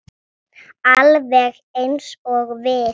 Alveg eins og við.